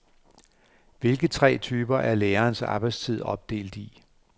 Hvilke tre typer er lærerens arbejdstid opdelt i?